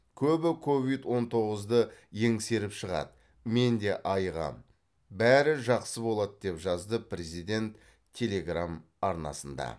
көбі ковид он тоғызды еңсеріп шығады мен де айығамын бәрі жақсы болады деп жазды президент телеграмм арнасында